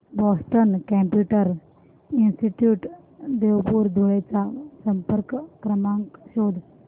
Boston computer institute Deopur Dhule चा संपर्क क्रमांक शोध